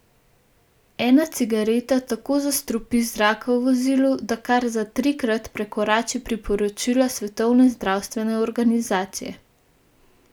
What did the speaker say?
Ena cigareta tako zastrupi zrak v vozilu, da kar za trikrat prekorači priporočila Svetovne zdravstvene organizacije.